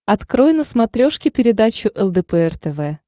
открой на смотрешке передачу лдпр тв